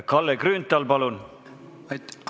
Kalle Grünthal, palun!